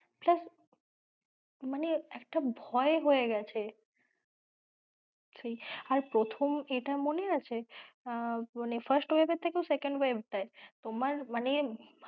হ্যাঁ, মানে একটা ভয় হয়ে গেছে সেই আর প্রথম এটা মনে আছে আহ মানে first wave এর থেকেও second wave টায় তোমার মানে,